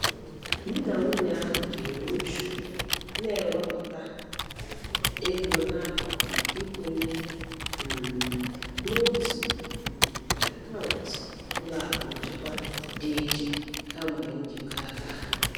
Di na nwunye ahụ jiri uchu n'ewepụta ego n'akụkụ maka ịkwụnye um n'otu um akaụntụ ụlọakụ nchekwa dị iche, kamgbe njikọ aka ha.